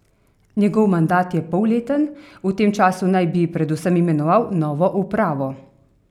Njegov mandat je polleten, v tem času naj bi predvsem imenoval novo upravo.